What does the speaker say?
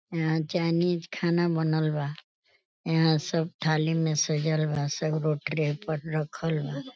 यहाँँ चाइनीज़ खाना बनल बा। यहाँँ सब थाली में सजल बा। सगरो ट्रे पर रखल बा।